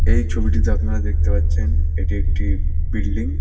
এই ছবিটিতে আপনারা দেখতে পাচ্ছেন এটি একটি বিল্ডিং ।